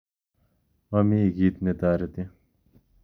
Momi kit netoreti